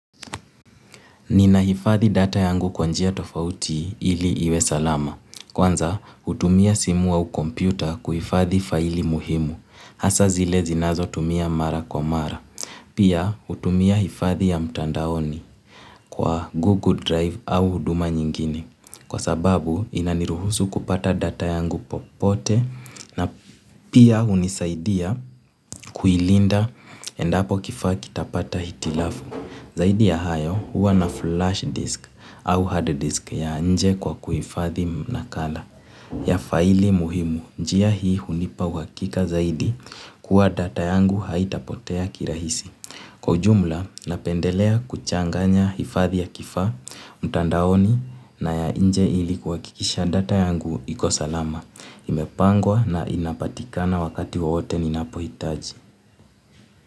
Ninahifadhi data yangu kwa njia tofauti ili iwe salama. Kwanza, hutumia simu au kompyuta kuhifadhi faili muhimu. Hasa zile zinazo tumia mara kwa mara. Pia, hutumia hifadhi ya mtandaoni kwa Google Drive au huduma nyingine. Kwa sababu, inaniruhusu kupata data yangu popote na pia hunisaidia kuilinda endapo kifaa kitapata hitilafu. Zaidi ya hayo huwa na flash disk au hard disk ya nje kwa kuhifadhi nakala ya faili muhimu. Njia hii hunipa uhakika zaidi kuwa data yangu haitapotea kirahisi. Kwa ujumla napendelea kuchanganya hifadhi ya kifaa, mtandaoni na ya nje ili kuhakikisha data yangu iko salama. Imepangwa na inapatikana wakati wowote ninapohitaji.